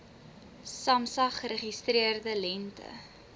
samsa geregistreerde lengte